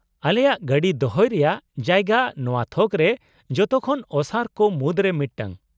-ᱟᱞᱮᱜᱟᱭ ᱜᱟᱹᱰᱤ ᱫᱚᱦᱚᱭ ᱨᱮᱭᱟᱜ ᱡᱟᱭᱜᱟ ᱱᱚᱶᱟ ᱛᱷᱚᱠ ᱨᱮ ᱡᱚᱛᱚ ᱠᱷᱚᱱ ᱚᱥᱟᱨ ᱠᱚ ᱢᱩᱫᱨᱮ ᱢᱤᱫᱴᱟᱝ ᱾